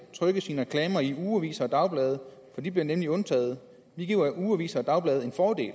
trykker sine reklamer i ugeaviser og dagblade for de bliver nemlig undtaget vi giver ugeaviser og dagblade en fordel